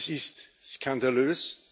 Das ist skandalös.